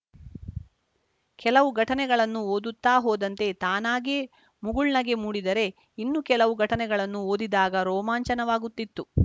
ಕೆಲವು ಘಟನೆಗಳನ್ನು ಓದುತ್ತಾ ಹೋದಂತೆ ತಾನಾಗೇ ಮುಗುಳ್ನಗೆ ಮೂಡಿದರೆ ಇನ್ನು ಕೆಲವು ಘಟನೆಗಳನ್ನು ಓದಿದಾಗ ರೋಮಾಂಚನವಾಗುತ್ತಿತ್ತು